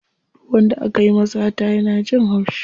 Duk wanda akayi wa sata yana jin haushi.